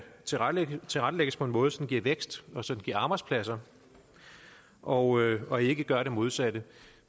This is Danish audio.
tilrettelægges på en måde så den giver vækst og så den giver arbejdspladser og og ikke gør det modsatte